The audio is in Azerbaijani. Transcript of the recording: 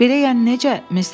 Belə yəni necə?